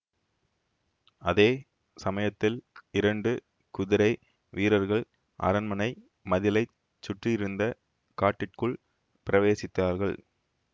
அதே சமயத்தில் இரண்டு குதிரை வீரர்கள் அரண்மனை மதிளைச் சுற்றியிருந்த காட்டிற்குள் பிரவேசித்தார்கள்